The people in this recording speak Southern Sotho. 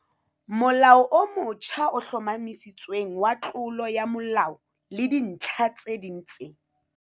Molao o motjha o Hlomathisitsweng wa Tlolo ya molao le Dintlha tse ding tse